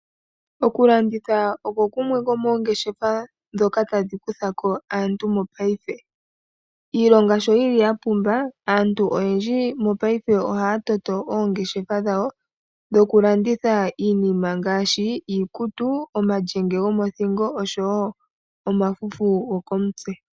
Oku landitha oko kumwe komoongeshefa ndhoka tadhi kutha ko aantu paife. Iilonga sho yi li ya pumba aantu oyendji mopaife ohaya toto oongeshefa dhawo dhokulanditha iinima ngaashi iikutu, omalyenge gomothingo oshowo omafufu gokomutse.